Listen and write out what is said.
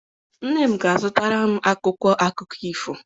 Nne m ga-azụtara m akwụkwọ akụkọ ifo.